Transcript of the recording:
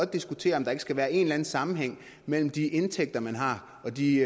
diskutere om der ikke skal være en eller anden sammenhæng mellem de indtægter man har og de